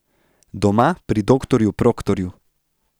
Doma pri doktorju Proktorju.